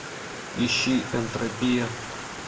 ищи энтропия